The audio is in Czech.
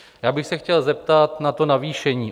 Já bych se chtěl zeptat na to navýšení.